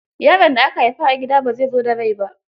Yaron da aka haifa a gida bai zo da rai ba.